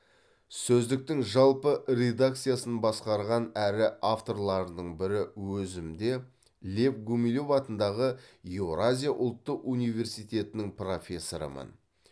сөздіктің жалпы редакциясын басқарған әрі авторларының бірі өзім де лев гумилев атындағы еуразия ұлттық университетінің профессорымын